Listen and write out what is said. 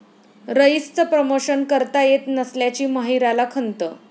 रईस'चं promotion करता येत नसल्याची माहिराला खंत